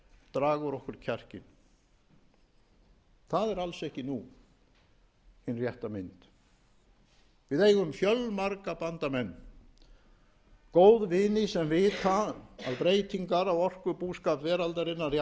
draga úr okkur kjarkinn það er alls ekki nú hin rétta mynd við eigum fjölmarga bandamenn góðvini sem vita að breytingar á orkubúskap veraldarinnar í